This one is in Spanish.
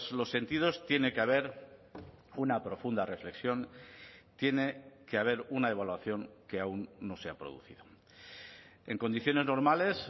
los sentidos tiene que haber una profunda reflexión tiene que haber una evaluación que aún no se ha producido en condiciones normales